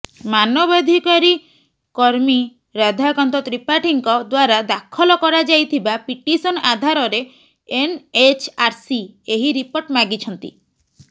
ମାନବାଧିକାରୀ କର୍ମୀ ରାଧାକାନ୍ତ ତ୍ରିପାଠୀଙ୍କ ଦ୍ବାରା ଦାଖଲ କରାଯାଇଥିବା ପିଟିସନ୍ ଆଧାରରେ ଏନ୍ଏଚ୍ଆର୍ସି ଏହି ରିପୋର୍ଟ ମାଗିଛନ୍ତି